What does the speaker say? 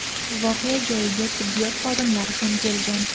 Voqea joyiga tibbiyot xodimlari ham kelgan.